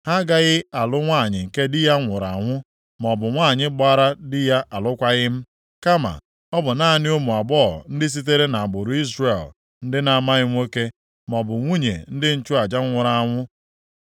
Ha agaghị alụ nwanyị nke di ya nwụrụ anwụ, maọbụ nwanyị gbaara di ya alụkwaghị m. Kama ọ bụ naanị ụmụ agbọghọ ndị sitere nʼagbụrụ Izrel ndị na-amaghị nwoke, maọbụ nwunye ndị nchụaja nwụrụ anwụ.